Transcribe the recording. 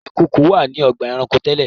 Ìkoko wá ní ọgbà ẹranko tẹ́lè.